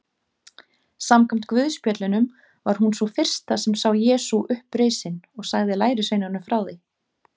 Samkvæmt guðspjöllunum var hún sú fyrsta sem sá Jesú upprisinn og sagði lærisveinunum frá því.